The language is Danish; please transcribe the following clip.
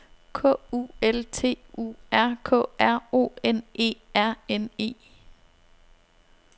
K U L T U R K R O N E R N E